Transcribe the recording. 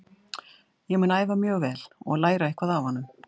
Ég mun æfa mjög vel og læra eitthvað af honum.